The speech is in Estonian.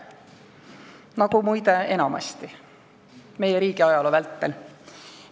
Nagu muide enamasti meie riigi ajaloo vältel.